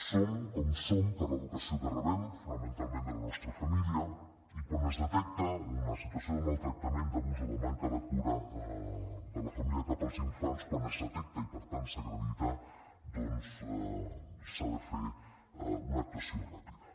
som com som per l’educació que rebem fonamentalment de la nostra família i quan es detecta una situació de maltractament d’abús o de manca de cura de la família cap als infants quan es detecta i per tant s’acredita doncs s’ha de fer una actuació ràpida